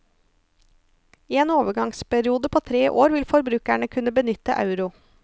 I en overgangsperiode på tre år vil forbrukerne kunne benytte euro.